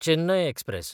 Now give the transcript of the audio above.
Chennai एक्सप्रॅल